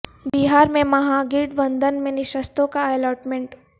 بہار میں Mahagathbandhan میں نشستوں کا الاٹمنٹ